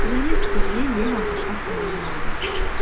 және сіздерге ең алғашқы сұрағым да бар